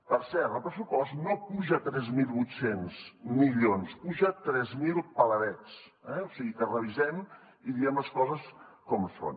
per cert el pressupost no puja tres mil vuit cents milions en puja tres mil peladets o sigui que revisem ho i diguem les coses com són